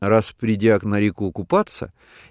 раз придя на реку купаться